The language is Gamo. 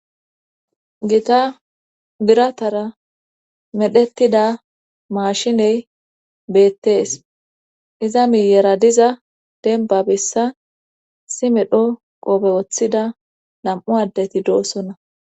gita biratara medhetida maashiney beettees. iza miyera diza denba bessa issi medho qofe woththida nam''u addeti doossonna.